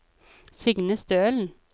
Signe Stølen